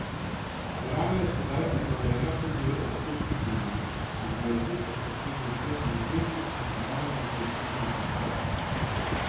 Dvorana je sedaj prenovljena tudi v estetskem pogledu, izvedli pa so tudi vse energetske, funkcionalne in tehnične izboljšave.